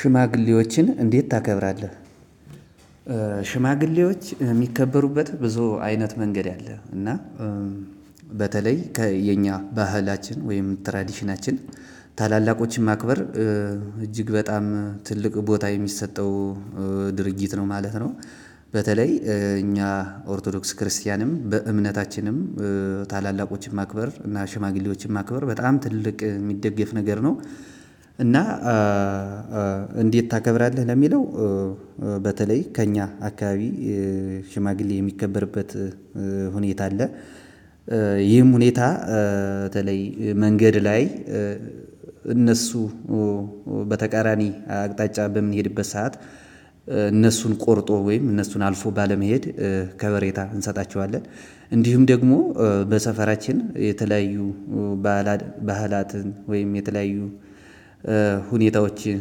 ሽማግሌዎችን እንዴት ታከብራለህ? ሽማግሌዎች የሚከበሩበት ብዙ አይነት መንገድ አለ። እና በተለይ ከየኛ ባህላችን ወይም ትራዴሽናችን ታላላቆችን ማክበር እጅግ በጣም ትልቅ ቦታ የሚሰጠው ድርጊት ነው ማለት ነው። በተለይ እኛ ኦርቶዶክስ ክርስቲያንም በእምነታችንም ታላላቆችን ማክበር እና ሽማግሌዎችን ማክበር በጣም ትልቅ የሚደገፍ ነገር ነው። እና እንዴት ታከብራለህ? ለሚለው በተለይ ከእኛ አካባቢ ሽማግሌ የሚከበርበት ሁኔታ አለ። ይህም ሁኔታ በተለይ መንገድ ላይ እነሱ በተቃራኒ አቅጣጫ በምንሄድበት ሰዓት እነሱን ቆርጦ ወይም እነሱን አልፎ ባለመሄድ ከበሬታ እንሰጣቸዋለን። እንዲሁም ደግሞ በሰፈራችን የተለያዩ ባህላትን ወይም የተለያዩ ሁኔታዎችን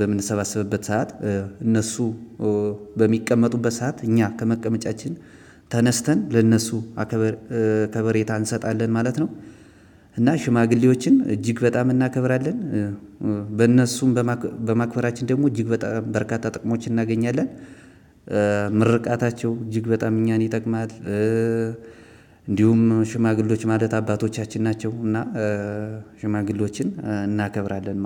በምንሰበሰብበት ሰዓት እነሱ በሚቀመጡበት ሰዓት እኛ ከመቀመጫቺን ተነስተን ለእነሱ ከበሬታ እንሰጣለን ማለት ነው። እና ሽማግሌዎችን እጅግ በጣም እናከብራለን። በእነሱ በማክበራችን ደግሞ እጂግ በጣም በርካታ ጥቅሞችን እናገኛለን። ምርቃታቸው እጅግ በጣም እኛን ይጠቅማል። እንዲሁም ሽማግሌዎች ማለት አባቶቻችን ናቸው። እና ሽማግሌዎችን እናከብራለን